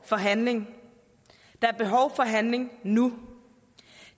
for handling der er behov for handling nu